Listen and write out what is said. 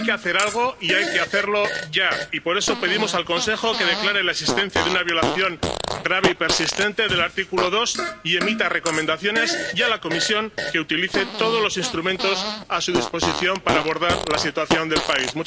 Hay que hacer algo y hay que hacerlo ya, y por eso pedimos al Consejo que declare la existencia de una violación grave y persistente del artículo 2 y emita recomendaciones, y a la Comisión que utilice todos los instrumentos a su disposición para abordar la situación del país.